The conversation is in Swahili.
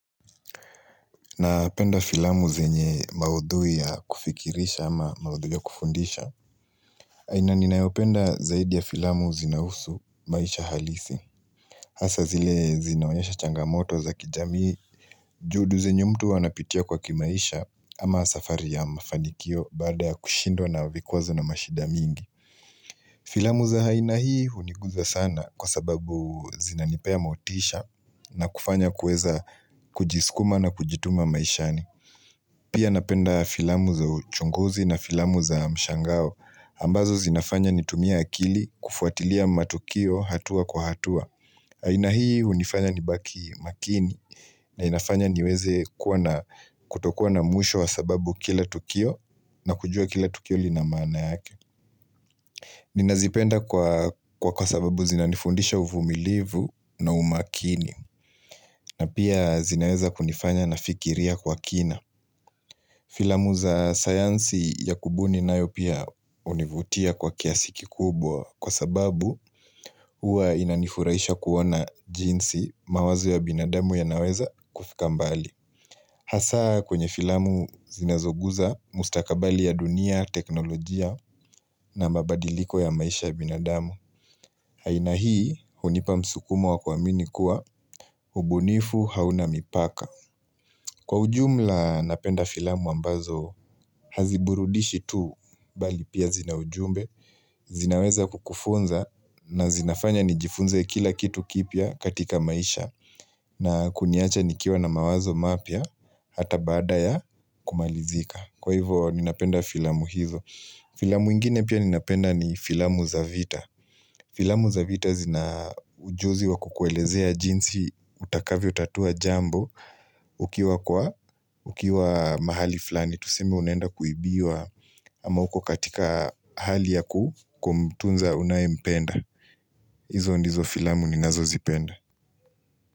Napenda filamu zenye maudhui ya kufikirisha ama maudhui ya kufundisha aina ninayopenda zaidi ya filamu zinahusu maisha halisi Hasa zile zinaonyesha changamoto za kijami juhudi zenyu mtu huwa anapitia kwa kimaisha ama safari ya mafanikio Baada ya kushindwa na vikwazo na mashida mingi Filamu za haina hii huniguzwa sana kwa sababu zinanipea motisha na kufanya kueza kujiskuma na kujituma maishani Pia napenda filamu za uchunguzi na filamu za mshangao ambazo zinafanya nitumie akili kufuatilia matukio hatua kwa hatua aina hii hunifanya nibaki makini na inafanya niweze kutokuwa na mwisho wa sababu kila tukio na kujua kila tukio lina maana yake Ninazipenda kwa sababu zinanifundisha uvumilivu na umakini na pia zinaweza kunifanya nafikiria kwa kina Filamu za sayansi ya kubuni nayo pia hunivutia kwa kiasi kikubwa kwa sababu hua inanifuraisha kuona jinsi mawazo ya binadamu yanaweza kufika mbali. Hasaa kwenye filamu zinazoguza mustakabali ya dunia, teknolojia na mabadiliko ya maisha ya binadamu. Haina hii hunipa msukumo wa kuamini kuwa hubunifu hauna mipaka. Kwa ujumla napenda filamu ambazo haziburudishi tu bali pia zina ujumbe, zinaweza kukufunza na zinafanya nijifunze kila kitu kipya katika maisha na kuniacha nikiwa na mawazo mapya hata baada ya kumalizika. Kwa hivo ninapenda filamu hizo Filamu ingine pia ninapenda ni filamu za vita Filamu za vita zina ujuzi wa kukuelezea jinsi utakavyo tatua jambo ukiwa mahali flani Tuseme unaenda kuibiwa ama uko katika hali yakumtunza unayempenda Izo ndizo filamu ninazozipenda.